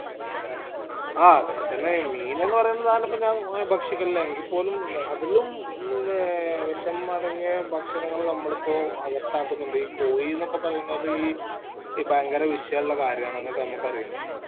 ആ അതൊക്കെ തന്നെ മീൻ എന്നെന്ന് പറയന്ന സാധനം ഇപ്പൊ ഞാൻ ഭക്ഷിക്കലില്ല എങ്കി പോലും ഈ അതിലും ഏർ വിഷം അടങ്ങിയ ഭക്ഷണങ്ങള് നമ്മൾ ഇപ്പൊ അകത്താക്കുന്നുണ്ട് ഈ കോഴി ന്നൊക്കെ പറയ്ന്നത് ഈ ഭയങ്കര വിശ്യം ഇല്ല കാര്യന്ന് നമ്മക്ക് നമ്മക്കറിയിന്നെ